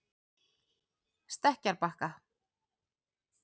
Stekkjarbakka